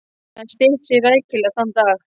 Hún hafði stytt sig rækilega þann dag.